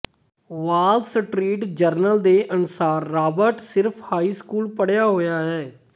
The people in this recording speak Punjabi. ਵਾਲ ਸਟ੍ਰੀਟ ਜਰਨਲ ਦੇ ਅਨੁਸਾਰ ਰਾਬਰਟ ਸਿਰਫ ਹਾਈ ਸਕੂਲ ਪੜ੍ਹਿਆ ਹੋਇਆ ਹੈ